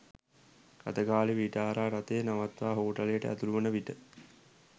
රථ ගාලේ විටාරා රථය නවත්වා හෝටලයට ඇතුළු වන විට